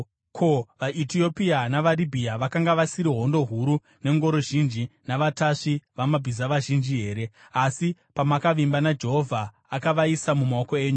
Ko, vaEtiopia navaRibhiya vakanga vasiri hondo huru nengoro zhinji navatasvi vamabhiza vazhinji here? Asi pamakavimba naJehovha, akavaisa mumaoko enyu.